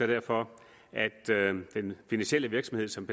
derfor at den finansielle virksomhed som